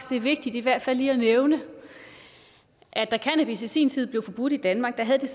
det er vigtigt i hvert fald lige at nævne at da cannabis i sin tid blev forbudt i danmark havde det